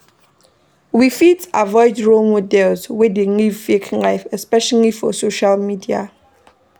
We fit avoid role models wey dey live fake life especially for social media